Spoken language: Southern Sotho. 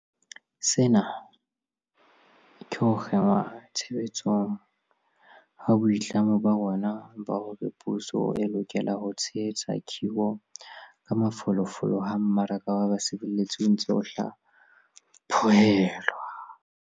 Sena ke ho kenngwa tshebetsong ha boitlamo ba rona ba hore puso e lokela ho tshehetsa khiro ka mafolofolo ha mmaraka wa basebetsi o ntse o hla phohelwa.